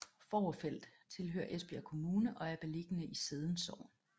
Fovrfeld tilhører Esbjerg Kommune og er beliggende i Sædden Sogn